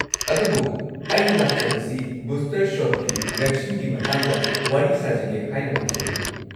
ꯑꯗꯨꯕꯨ, ꯑꯩꯅ ꯂꯥꯛꯆꯕꯁꯤ ꯕꯨꯁꯇꯔ ꯁꯣꯠꯀꯤ ꯚꯦꯛꯁꯤꯟꯒꯤ ꯃꯇꯥꯡꯗ ꯋꯥꯔꯤ ꯁꯥꯖꯒꯦ ꯍꯥꯏꯅ ꯂꯥꯛꯆꯕꯅꯤ꯫